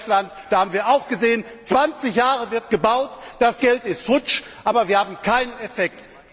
In Deutschland haben wir auch gesehen 20 Jahre wird gebaut, das Geld ist futsch, aber wir haben keinen Effekt.